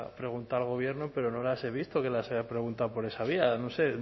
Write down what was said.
preguntado al gobierno pero no las he visto que les haya preguntado por esa vía no sé